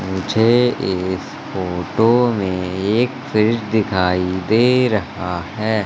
मुझे इस फोटो में एक फ्रिज दिखाई दे रहा है।